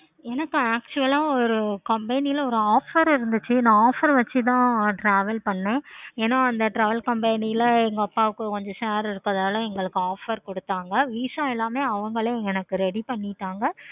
எனக்கு actually ஒரு offer இருந்துச்சி. நா offer வச்சி தான் நா travel பண்ணன். ஏன அந்த travel company ல இப்ப கொஞ்சம் share இருக்கனால எங்களுக்கு offer கொடுத்தாங்க. VISA எல்லாமே அவுங்களே பண்ணிட்டாங்க.